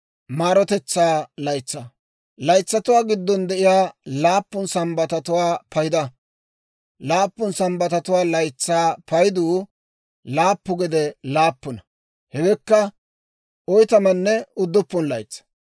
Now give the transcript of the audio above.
« ‹Laytsatuwaa giddon de'iyaa laappun Sambbatatuwaa payda; laappun Sambbatatuwaa laytsaa payduu laappu gede laappuna; hewekka oytamanne udduppun laytsaa.